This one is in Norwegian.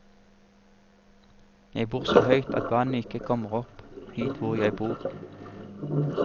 Jeg bor så høyt at vannet ikke kommer opp hit hvor jeg bor.